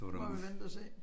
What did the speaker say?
Prøver vi vent og se